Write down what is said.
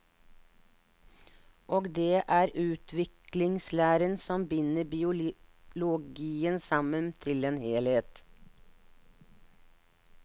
Og det er utviklingslæren som binder biologien sammen til en helhet.